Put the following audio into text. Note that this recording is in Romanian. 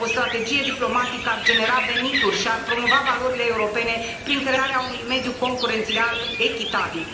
O strategie diplomatică ar genera venituri și ar promova valorile europene prin crearea unui mediu concurențial echitabil.